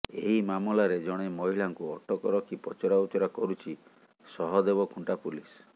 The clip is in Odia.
ଏହି ମାମଲାରେ ଜଣେ ମହିଳାଙ୍କୁ ଅଟକ ରଖି ପଚରା ଉଚରା କରୁଛି ସହଦେବଖୁଂଟା ପୁଲିସ୍